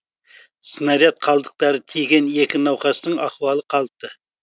снаряд қалдықтары тиген екі науқастық ахуалы қалыпты